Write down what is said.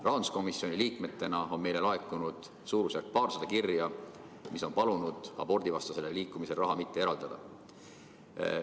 Rahanduskomisjoni liikmetele on laekunud paarsada kirja, kus on palutud abordivastasele liikumisele raha mitte eraldada.